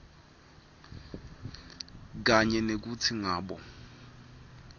kanye nekutsi ngabe